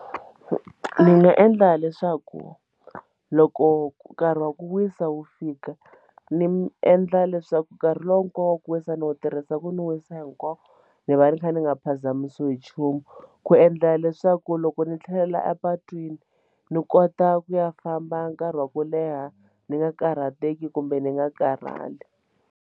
Ndzi nga endla leswaku loko nkarhi wa ku wisa wu fika ni endla leswaku nkarhi lowu hinkwawo ku wisa ni wu tirhisa ku ndzi wisa hinkwawo ni va ni kha ni nga phazamisiwi hi nchumu ku endla leswaku loko ndzi tlhelela a patwini ni kota ku ya famba nkarhi wa ku leha ni nga karhateki kumbe ni nga karhali.